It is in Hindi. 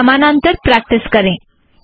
उन्हें सामानांतर प्रैक्टिस करें